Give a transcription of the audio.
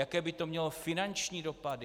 Jaké by to mělo finanční dopady?